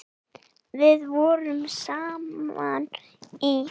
Við vorum saman í